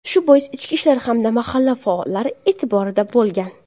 Shu bois ichki ishlar hamda mahalla faollari e’tiborida bo‘lgan.